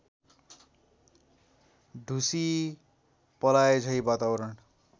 ढुसी पलाएझैँ वातावरण